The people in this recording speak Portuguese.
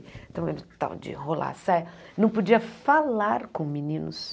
Então, de rolar a saia, não podia falar com meninos.